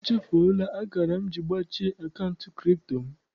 Echufuola akara m ji gbachie akaụntụ kripto m.